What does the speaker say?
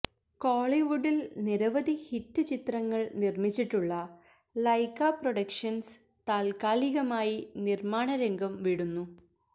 കോളിവുഡില് നിരവധി ഹിറ്റ് ചിത്രങ്ങള് നിര്മ്മിച്ചിട്ടുള്ള ലൈക്കാ പ്രൊഡക്ഷന്സ് താല്ക്കാലികമായി നിര്മ്മാണ രംഗം വിടുന്നു